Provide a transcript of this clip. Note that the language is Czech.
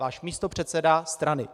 Váš místopředseda strany.